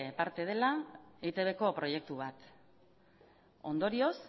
parte dela eitbko proiektu bat ondorioz